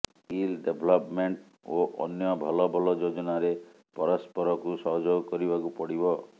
skill development ଓ ଅନ୍ୟ ଭଲ ଭଲ ଯୋଜନାରେ ପରସ୍ପରକୁ ସହଯୋଗ କରିବାକୁ ପଡ଼ିବ